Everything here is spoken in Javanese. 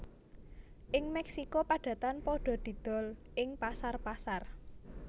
Ing Mexico padatan padha didol ing pasar pasar